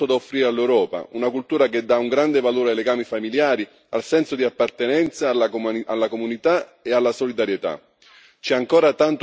È una cultura che ha molto da offrire all'Europa, una cultura che dà un grande valore ai legami familiari, al senso di appartenenza alla comunità e alla solidarietà.